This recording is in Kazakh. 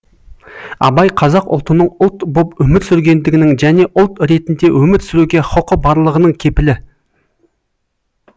абай қазақ ұлтының ұлт боп өмір сүргендігінің және ұлт ретінде өмір сүруге хұқы барлығының кепілі